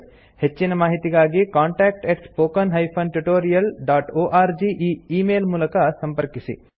ಹೆಚ್ಚಿನ ಮಾಹಿತಿಗಾಗಿ contact spoken tutorialorg e email ಮೂಲಕ ಸಂಪರ್ಕಿಸಿ